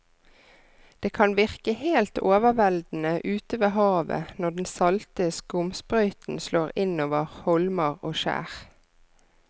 Det kan virke helt overveldende ute ved havet når den salte skumsprøyten slår innover holmer og skjær.